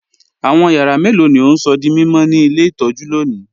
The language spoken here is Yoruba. Awọn yàrà mẹ́lọ̀ ni o n sọ̀ dí mímọ̀ ni ilẹ̀ itọ̀jú lónì?